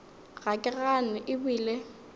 ga ke gane e bile